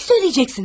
Nəyi deyəcəksiniz?